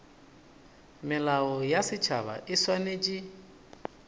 melao ya setšhaba e swanetše